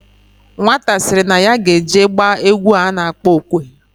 Nwata siri na ya ga eje gba egwu ano akpo okwe.